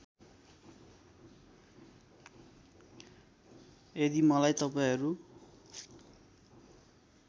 यदि मलाई तपाईँहरू